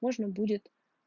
можно будет